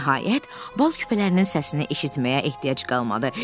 Nəhayət, bal küpələrinin səsini eşitməyə ehtiyac qalmadı.